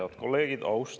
Head kolleegid!